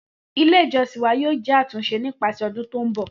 Ile ijọsin wa yoo jẹ atunṣe nipasẹ ọdun ti nbọ.